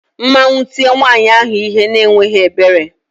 Mmanwu tie nwayi ahu ihe n' enweghi ebere